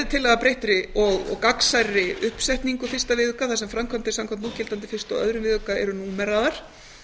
tillaga að breyttri og gagnsærri uppsetningu fyrsta viðauka þar sem framkvæmdir samkvæmt núgildandi fyrstu og öðrum viðauka eru númeraðar